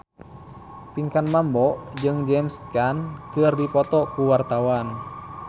Pinkan Mambo jeung James Caan keur dipoto ku wartawan